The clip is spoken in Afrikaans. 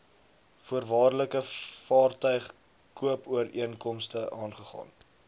voorwaardelike vaartuigkoopooreenkomste aangegaan